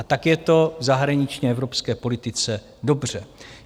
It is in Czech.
A tak je to v zahraniční evropské politice dobře.